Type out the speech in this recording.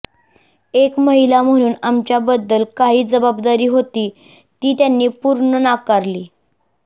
एक महिला म्हणून आमच्याबद्दल काही जबाबदारी होती ती त्यांनी पूर्ण नाकारली